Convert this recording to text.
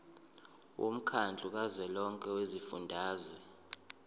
womkhandlu kazwelonke wezifundazwe